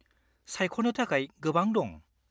-सायख'नो थाखाय गोबां दं।